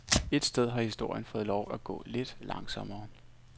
Et sted har historien fået lov at gå lidt langsommere.